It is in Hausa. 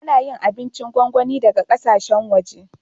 Ana yin yawancin abincin gongoni daga ƙasashen waje.